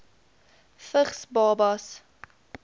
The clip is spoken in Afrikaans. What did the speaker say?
vigs babas